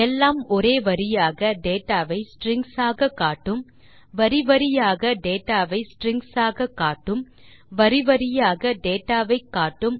எல்லாம் ஒரே வரியில் டேட்டா வை ஸ்ட்ரிங்ஸ் ஆக காட்டும் வரி வரியாக டேட்டா வை ஸ்ட்ரிங்ஸ் ஆக காட்டும் வரி வரியாக டேட்டா வை காட்டும்